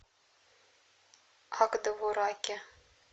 ак довураке